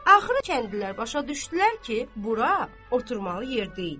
Axırı kəndlilər başa düşdülər ki, bura oturmalı yer deyil.